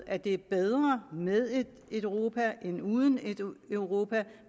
at det er bedre med et europa end uden et europa og